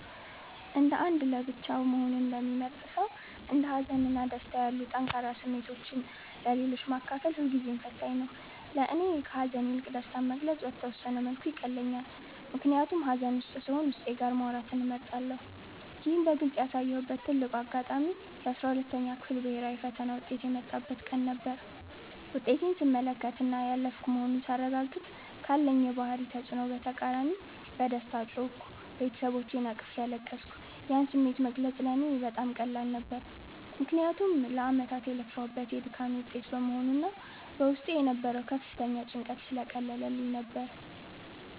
እንደ አንድ ለብቻው መሆንን እንደሚመርጥ ሰው፣ እንደ ሀዘን እና ደስታ ያሉ ጠንካራ ስሜቶችን ለሌሎች ማካፈል ሁልጊዜም ፈታኝ ነው። ለእኔ ከሐዘን ይልቅ ደስታን መግለጽ በተወሰነ መልኩ ይቀለኛል፤ ምክንያቱም ሐዘን ውስጥ ስሆን ዉስጤ ጋር ማውራትን እመርጣለሁ። ይህን በግልጽ ያሳየሁበት ትልቁ አጋጣሚ የ12ኛ ክፍል ብሔራዊ ፈተና ውጤት የመጣበት ቀን ነበር። ውጤቴን ስመለከትና ያለፍኩ መሆኑን ሳረጋግጥ፤ ካለኝ የባህሪ ተጽዕኖ በተቃራኒ በደስታ ጮህኩ፤ ቤተሰቦቼንም አቅፌ አለቀስኩ። ያን ስሜት መግለጽ ለእኔ በጣም ቀላል ነበር፤ ምክንያቱም ለዓመታት የለፋሁበት የድካሜ ውጤት በመሆኑና በውስጤ የነበረው ከፍተኛ ጭንቀት ስለቀለለልኝ ነበር።